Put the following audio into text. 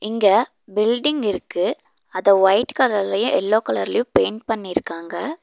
இங்க பில்டிங் இருக்கு அத ஒயிட் கலர்லையு எல்லோ கலர்லையு பெயிண்ட் பண்ணிருக்காங்க.